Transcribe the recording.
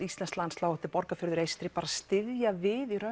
íslenskt landslag þetta er Borgarfjörður eystri styðja við